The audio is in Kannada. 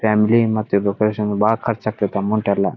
ಫ್ಯಾಮಿಲಿ ಮತ್ತೆ ಡೆಕೋರೇಷನ್ ಗೆ ಬಾಳ ಖರ್ಚ್ ಆಗತ್ತೆ ಅಮೌಂಟ್ ಎಲ್ಲಾ.